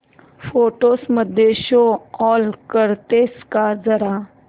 photos मध्ये show all करतेस का जरा